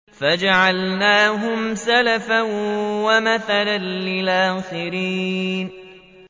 فَجَعَلْنَاهُمْ سَلَفًا وَمَثَلًا لِّلْآخِرِينَ